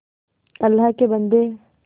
अल्लाह के बन्दे